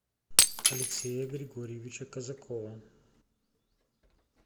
алексея григорьевича казакова